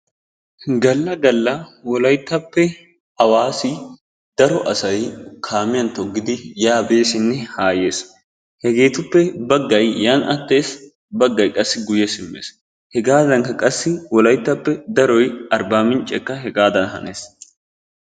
Galla galla wolayttappe Awaasi daro asay kaamiyan togidi beesinne ha yeesinne. Hegeetuppe baggay yaani attees, baggay qassi guye simmes. Hegaadanikka qassi wolayttappe daroy Arbaminccekka hegaadan hannees.